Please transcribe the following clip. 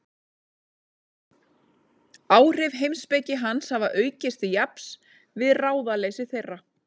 Áhrif heimspeki hans hafa aukist til jafns við ráðaleysi þeirra.